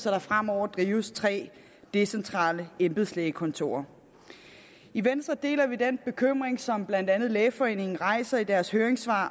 at der fremover drives tre decentrale embedslægekontorer i venstre deler vi den bekymring som blandt andet lægeforeningen rejser i deres høringssvar